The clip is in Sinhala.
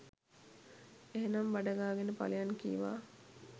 එහෙනම් බඩ ගාගෙන පලයන් කීවා.